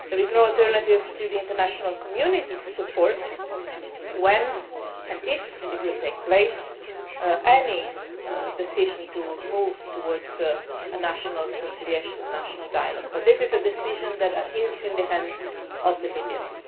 there is no alternative for the international community than to support when and if it takes place any decision to move towards a national reconciliation or a national dialogue. This is a decision which is in the hands of the Libyans.